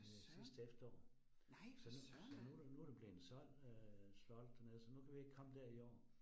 Øh sidste efterår, så nu så nu det nu det blevet solgt øh slottet dernede, så nu kan vi ikke komme dér i år